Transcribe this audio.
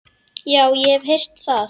Já, ég hef heyrt það.